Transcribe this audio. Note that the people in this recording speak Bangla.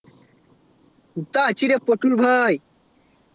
কুথা আছি রে পটল ভাই